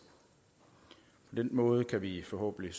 på den måde kan vi forhåbentlig